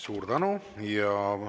Suur tänu!